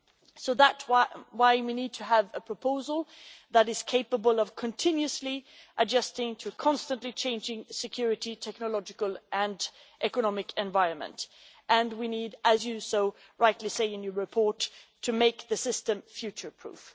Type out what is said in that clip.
So that is why we need to have a proposal that is capable of continuously adjusting to a constantly changing security, technological and economic environment, and we need as you so rightly say in your report to make the system future proof.